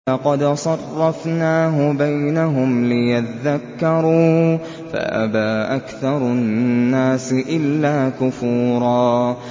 وَلَقَدْ صَرَّفْنَاهُ بَيْنَهُمْ لِيَذَّكَّرُوا فَأَبَىٰ أَكْثَرُ النَّاسِ إِلَّا كُفُورًا